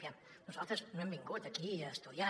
aviam nosaltres no hem vingut aquí a estudiar